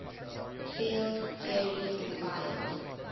field theory requires